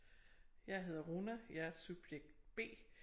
Jeg hedder Rona jeg er subjekt B